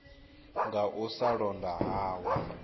nga u sa londa hawe